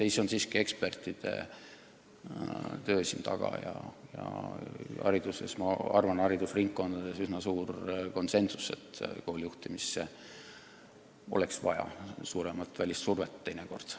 Ei, siin on taga siiski ekspertide töö ja minu arvates haridusringkondades usutakse üsna üksmeelselt, et koolide juhtimisse oleks teinekord vaja suuremat välissurvet.